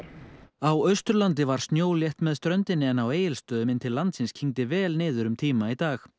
á Austurlandi var snjólétt með ströndinni en á Egilsstöðum inn til landsins kyngdi vel niður um tíma í dag